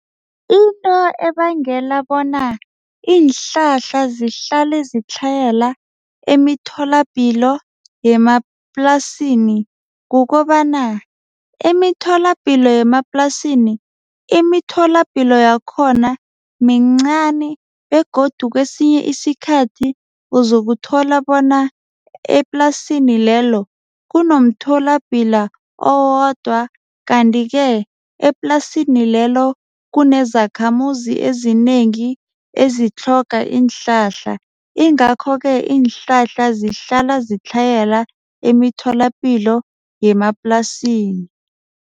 Into ebangela bona iinhlahla zihlale zitlhayela emitholapilo yemaplasini kukobana imitholapilo yemaplasini imitholapilo yakhona mincani begodu kwesinye isikhathi uzokuthola bona eplasini lelo kunomtholapilo owodwa. Kanti-ke eplasini lelo kunezakhamuzi ezinengi ezitlhoga iinhlahla. Ingakho-ke iinhlahla zihlala zitlhayela emitholapilo yemaplasini.